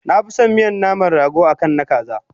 Nafison miyan naman rago akan na kaza